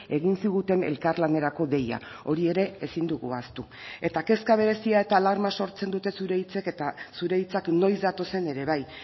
egin ziguten elkarlanerako deia hori ere ezin dugu ahaztu eta kezka berezia eta alarma sortzen dute zure hitzek eta zure hitzak noiz datozen ere bai